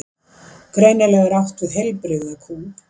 greinilega er átt við heilbrigða kú